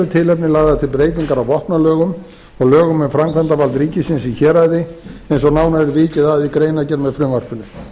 tilefni lagðar til breytingar á vopnalögum og lögum um framkvæmdavald ríkisins í héraði eins og nánar er vikið að í greinargerð með frumvarpinu